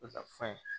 O ka fe